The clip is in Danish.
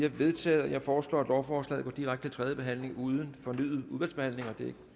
er vedtaget jeg foreslår at lovforslaget går direkte til tredje behandling uden fornyet udvalgsbehandling det er